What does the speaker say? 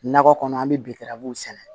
Nakɔ kɔnɔ an bɛ bikaran sɛnɛ